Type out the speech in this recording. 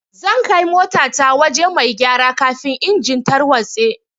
Zan kai mota ta wajen mai gyara kafin engine tarwatse.